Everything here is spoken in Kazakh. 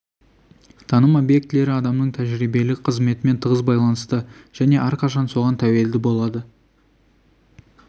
таным объектілері адамның тәжірибелік қызметімен тығыз байланысты және әрқашан соған тәуелді болады